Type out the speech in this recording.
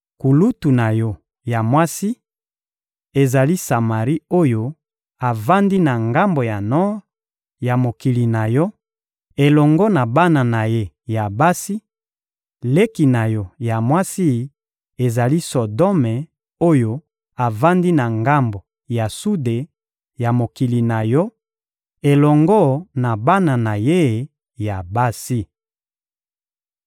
Kulutu na yo ya mwasi, ezali Samari oyo avandi na ngambo ya nor ya mokili na yo elongo na bana na ye ya basi; leki na yo ya mwasi ezali Sodome oyo avandi na ngambo ya sude ya mokili na yo elongo na bana na ye ya basi.